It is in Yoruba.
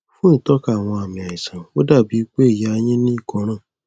fún ìtọka àwọn àmì àìsàn ó dà bí i pé ìyá yín ní ìkóràn